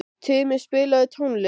Tumi, spilaðu tónlist.